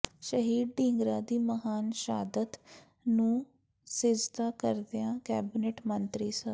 ਸ਼ਹੀਦ ਢੀਂਗਰਾ ਦੀ ਮਹਾਨ ਸ਼ਹਾਦਤ ਨੂੰ ਸਿਜ਼ਦਾ ਕਰਦਿਆਂ ਕੈਬਨਿਟ ਮੰਤਰੀ ਸ